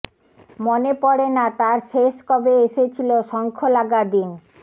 মনে পড়ে না তার শেষ কবে এসেছিল শঙ্খলাগা দিন